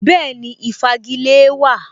Bẹ́ẹ̀ni, Ìfagilée wà